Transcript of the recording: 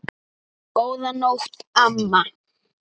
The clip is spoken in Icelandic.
Góðan nótt, amma.